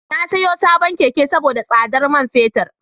Na siyo sabon Keke saboda tsadar man fetur.